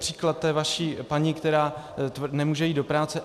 Příklad té vaší paní, která nemůže jít do práce.